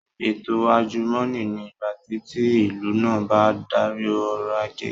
Ètò àjùmọ̀ní ni ìgbàtí tí ìlú náà bá n darí ọrọ̀ ajé